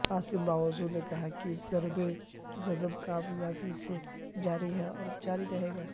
عاصم باجوہ نے کہا کہ ضرب عضب کامیابی سے جاری ہے اور جاری رہے گا